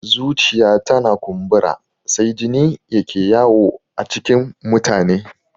Zuciya tana kumbura sai jini yake yawo a cikin mutane